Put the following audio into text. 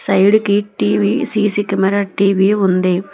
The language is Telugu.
సైడ్ కి టీ_వీ సీ_సీ కెమెరా టీ_వీ ఉంది.